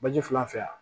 Baji filan fɛ yan